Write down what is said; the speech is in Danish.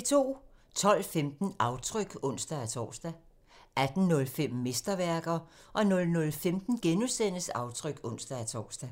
12:15: Aftryk (ons-tor) 18:05: Mesterværker 00:15: Aftryk *(ons-tor)